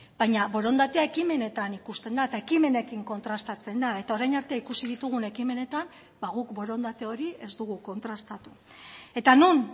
baina borondatea ekimenetan ikusten da eta ekimenekin kontrastatzen da eta orain arte ikusi ditugun ekimenetan ba guk borondate hori ez dugu kontrastatu eta non